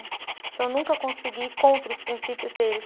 Então, eu nunca consegui ir contra os princípios deles.